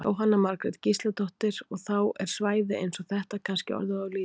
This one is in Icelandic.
Jóhanna Margrét Gísladóttir: Og þá er svæði eins og þetta kannski orðið of lítið?